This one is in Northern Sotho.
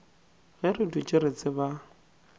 ge re dutše re tseba